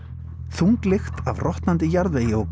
þung lykt af rotnandi jarðvegi